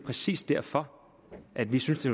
præcis derfor at vi synes det